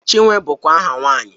Chinwe bụkwa aha nwaanyị